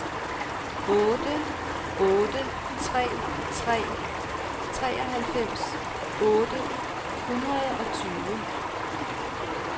otte otte tre tre treoghalvfems otte hundrede og tyve